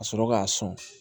Ka sɔrɔ k'a sɔn